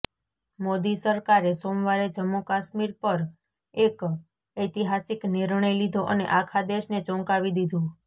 મોદી સરકારે સોમવારે જમ્મુ કાશ્મીર પર એક ઐતિહાસિક નિર્ણય લીધો અને આખા દેશને ચોંકાવી દીધુ